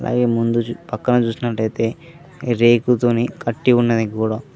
అలాగే ముందు పక్కన చుసినట్టయితే రేకు తోని కట్టి ఉన్నది గోడ.